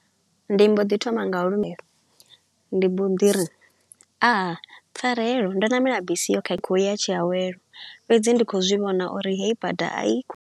Ndi mbo ḓi thoma nga u limela. Ndi mbo di ri, Aa! Pfarelo, ndo namela bisi yo khakha ya u ya Tshiawelo, fhedzi ndi kho u zwi vhona uri heyi bada a i kho.